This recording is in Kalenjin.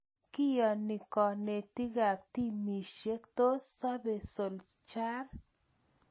Kione kenetik ab timisiek, tos sobe Solskjaer?